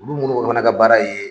Olu monnu fana ka baara ye